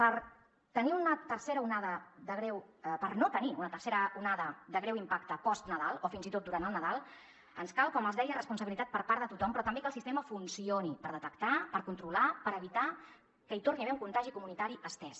per no tenir una tercera onada de greu impacte post nadal o fins i tot durant el nadal ens cal com els deia responsabilitat per part de tothom però també que el sistema funcioni per detectar per controlar per evitar que hi torni a haver un contagi comunitari estès